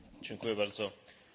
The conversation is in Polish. Pani Przewodnicząca!